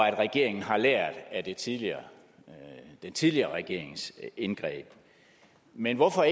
at regeringen har lært af den tidligere tidligere regerings indgreb men hvorfor